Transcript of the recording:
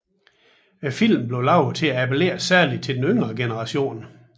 Filmen blev lavet til at appellere særligt til den yngre generation